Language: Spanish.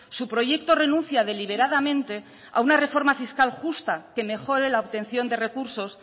su proyecto renuncia deliberadamente a una reforma fiscal justa que mejore la obtención de recursos